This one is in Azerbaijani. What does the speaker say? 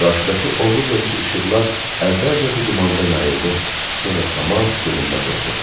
Qarşıdakı ovuc-ovuc işıqlar əvvəlcə bu dumanda yayıldı, sonra tamam görünməz oldu.